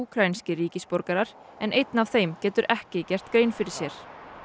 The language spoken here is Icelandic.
úkraínskir ríkisborgarar en einn af þeim getur ekki gert grein fyrir sér